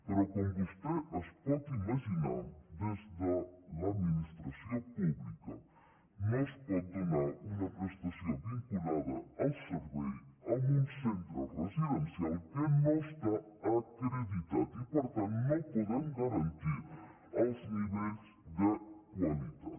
però com vostè es pot imaginar des de l’administració pública no es pot donar una prestació vinculada al servei a un centre residencial que no està acreditat i per tant no hi podem garantir els nivells de qualitat